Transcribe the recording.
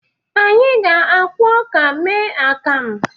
Anyị ga-akwọ ọka mee akamu.